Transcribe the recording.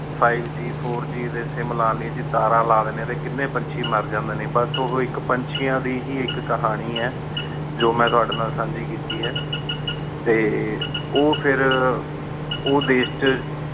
five G four G ਦੀ sim ਲਾਨੀ ਸੀ ਤਾਰਨ ਲਾਨ੍ਲਾਈ ਸੀ ਟੀ ਕਿਨ੍ਯਨ ਪੁਨ੍ਚੀ ਮੇਰ ਨ ਜਾਮੰਡੀ ਨਯਨ ਬਾਸ ਓ ਹੂ ਏਕ ਪੰਚੇਯਾਂ ਦੀ ਹੀ ਏਕ ਕਹਾਨੀ ਆਯ ਜੋ ਮੈਂ ਤੁਵਾਡੀ ਨਾਲ ਸੰਜੀ ਕੀਤੀ ਆਯ ਟੀ ਉ ਫੇਰ ਉਦੇਸ਼ ਚ